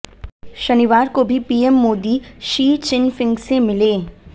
शनिवार को भी पीएम मोदी शी चिनफिंग से मिले